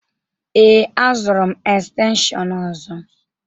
Ee, azụrụ m estenshịon ọzọ.